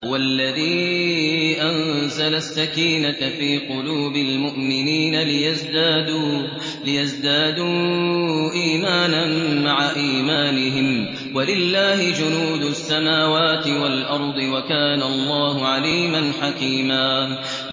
هُوَ الَّذِي أَنزَلَ السَّكِينَةَ فِي قُلُوبِ الْمُؤْمِنِينَ لِيَزْدَادُوا إِيمَانًا مَّعَ إِيمَانِهِمْ ۗ وَلِلَّهِ جُنُودُ السَّمَاوَاتِ وَالْأَرْضِ ۚ وَكَانَ اللَّهُ عَلِيمًا حَكِيمًا